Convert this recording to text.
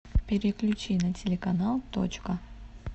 переключи на телеканал точка